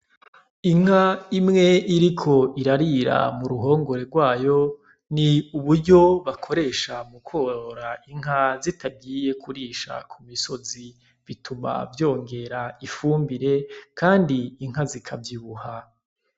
Inka imwe iriko irarira mu ruhongore rwayo ni uburyo bakoresha mu kworora inka zitagiye kurisha ku misozi bituma vyongera ifumbire kandi inka zikavyibuha.